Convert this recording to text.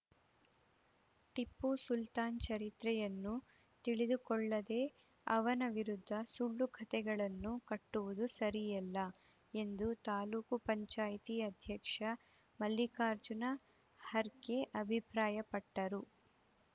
ಟಿಪ್ಪು ಸುಲ್ತಾನ್‌ ಚರಿತ್ರೆಯನ್ನು ತಿಳಿದುಕೊಳ್ಳದೇ ಅವನ ವಿರುದ್ಧ ಸುಳ್ಳು ಕಥೆಗಳನ್ನು ಕಟ್ಟುವುದು ಸರಿಯಲ್ಲ ಎಂದು ತಾಲೂಕು ಪಂಚಾಯ್ತಿ ಅಧ್ಯಕ್ಷ ಮಲ್ಲಿಕಾರ್ಜುನ ಹರ್ಗೆ ಅಭಿಪ್ರಾಯಪಟ್ಟರು